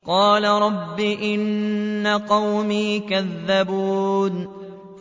قَالَ رَبِّ إِنَّ قَوْمِي كَذَّبُونِ